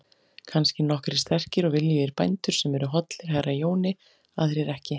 Kannski nokkrir sterkir og viljugir bændur sem eru hollir herra Jóni, aðrir ekki.